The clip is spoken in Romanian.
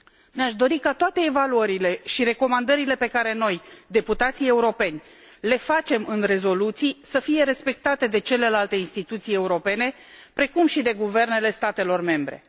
Mi aș dori ca toate evaluările și recomandările pe care noi, deputații europeni, le facem în rezoluții, să fie respectate de celelalte instituții europene, precum și de guvernele statelor membre.